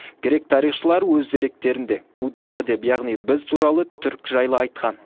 грек тарихшылары өз деректерінде гудзар деп яғни біз туралы түрік жайлы айтқан